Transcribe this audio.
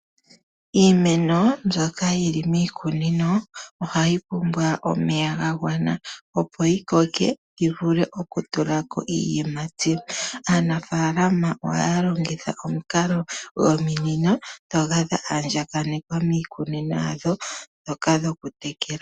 Iimeno mbyoka yi li miikunino ohayi pumbwa omeya ga gwana, opo yi vule okutula ko iiyimati. Aanafaalama ohaya longitha omukalo gominino ndhoka dha andjakanekwa miikunino yawo ndhoka dhokutekela.